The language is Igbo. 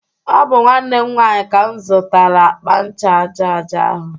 Ọ bụ nwanne m nwanyị ka m zụtara akpa ncha aja aja ahu